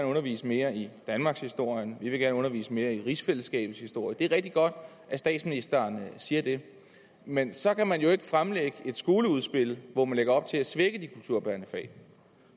undervist mere i danmarkshistorien vi vil at undervist mere i rigsfællesskabets historie og det er rigtig godt at statsministeren siger det men så kan man jo ikke fremlægge et skoleudspil hvor man lægger op til at svække de kulturbærende fag